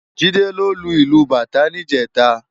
Jide ló lú ilú bátã nijèta